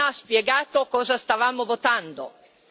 Lei non ha spiegato cosa stavamo votando.